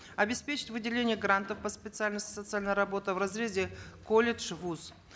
обеспечить выделение грантов по специальности социальная работа в разрезе колледж вуз